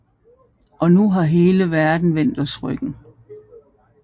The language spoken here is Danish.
Og nu har hele verden vendt os ryggen